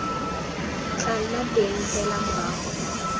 tla nna teng fela morago